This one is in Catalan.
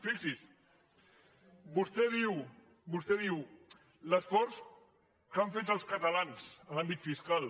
fixi’s fixi’s vostè diu l’esforç que han fet els catalans en l’àmbit fiscal